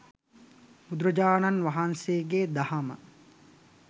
බුදුරජාණන් වහන්සේගේ දහම,